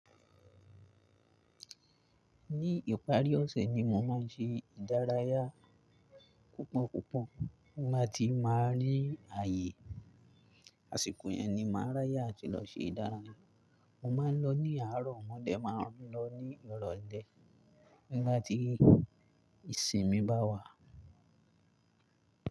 Ní ìparí ọ̀sẹ̀ ni mo máa ń ṣe ìdárayá. Kọ̀pọ̀kọ̀pọ̀ bí mo bá ti máa rí ààyè. Àsìkò yẹn ni màá ráyà àti lọ ṣe ìdárayá. Mo máa ń lọ ní àárọ̀, mo dẹ máa ń lọ ní ìrọ̀lẹ́ nígbà tí ìsinmi bá wà.